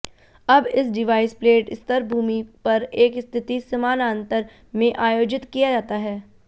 अब इस device plate स्तर भूमि पर एक स्थिति समानांतर में आयोजित किया जाता है